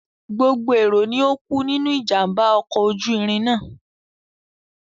Gbogbo èrò ni ó kú nínú ìjàm̀bá ọkọ̀ ojú irin náà.